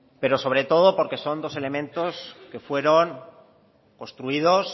pero sobre todo porque son dos elementos que fueron construidos